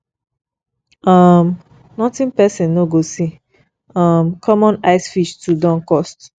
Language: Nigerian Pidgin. um notin person no go see um common ice fish too don cost